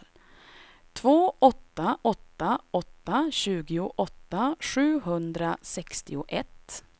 två åtta åtta åtta tjugoåtta sjuhundrasextioett